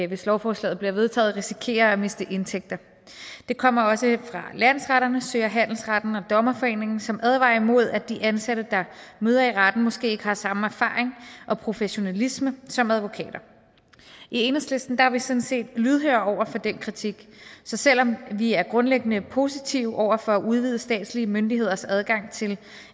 hvis lovforslaget bliver vedtaget risikerer at miste indtægter den kommer også fra landsretterne sø og handelsretten og dommerforeningen som advarer imod at de ansatte der møder i retten måske ikke har samme erfaring og professionalisme som advokater i enhedslisten er vi sådan set lydhøre over for den kritik så selv om vi er grundlæggende positive over for at udvide statslige myndigheders adgang til